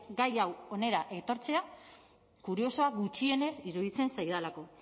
gai hau hona ekartzea kuriosoa gutxienez iruditzen zaidalako